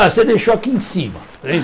Ah, você deixou aqui em cima.